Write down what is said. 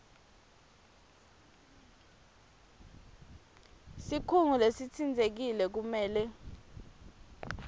sikhungo lesitsintsekile kumele